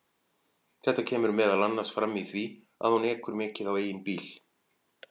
Þetta kemur meðal annars fram í því að hún ekur mikið á eigin bíl.